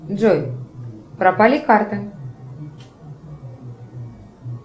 джой пропали карты